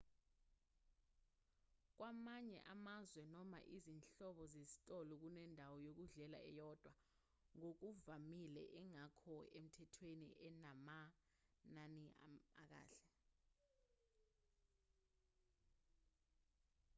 kwamanye amazwe noma izinhlobo zezitolo kunendawo yokudlela eyodwa ngokuvamile engekho emthethweni enamanani akahle